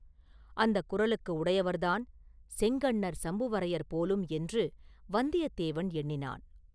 அந்தக் குரலுக்கு உடையவர்தான் செங்கண்ணர் சம்புவரையர் போலும் என்று வந்தியத்தேவன் எண்ணினான்.